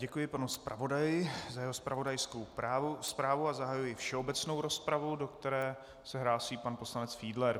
Děkuji panu zpravodaji za jeho zpravodajskou zprávu a zahajuji všeobecnou rozpravu, do které se hlásí pan poslanec Fiedler.